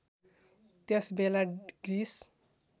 त्यस बेला ग्रिस